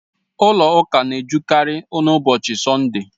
Ụlọ ụka na-ejukarị n'ụbọchị Sọnde